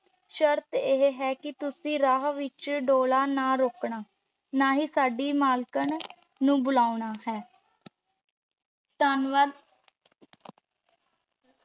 ਸ਼ਰਤ ਇਹ ਹੈ ਕਿ ਤੁਸੀਂ ਰਾਹ ਵਿਚ ਡੋਲਾ ਨਾ ਰੋਕਣਾ, ਨਾ ਹੀ ਸਾਡੀ ਮਾਲਕਣ ਨੂੰ ਬੁਲਾਉਣਾ ਹੈ, ਧੰਨਵਾਦ।